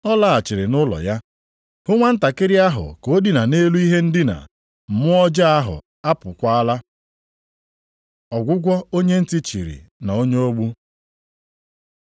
Ọ laghachiri nʼụlọ ya, hụ nwantakịrị ahụ ka o dina nʼelu ihe ndina, mmụọ ọjọọ ahụ apụọkwala. Ọgwụgwọ onye ntị chiri na onye ogbu